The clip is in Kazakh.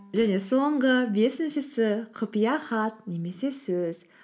және соңғы бесіншісі құпия хат немесе сөз